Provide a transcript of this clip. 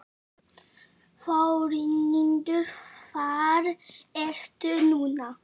Þórhildur, hvar ertu núna?